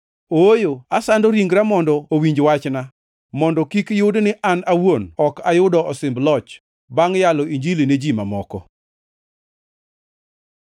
Ooyo, asando ringra mondo owinj wachna, mondo kik yud ni an awuon ok ayudo osimb loch, bangʼ yalo Injili ne ji mamoko.